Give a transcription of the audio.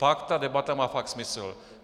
Pak ta debata má fakt smysl.